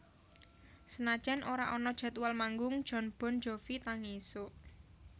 Senajan ora ana jadwal manggung Jon Bon Jovi tangi isuk